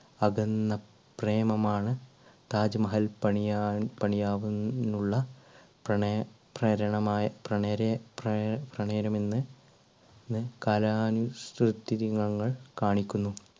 അകന്ന പ്രേമം ആണ് താജ്മഹൽ പണിയാൻ പണിയാവുന്നുള്ള പ്രണയ പ്രേരണമായ പ്രണരെ~പ്രേ~പ്രണയരമെന്ന് കലാനുസുത്തി ദിനങ്ങൾ കാണിക്കുന്നു.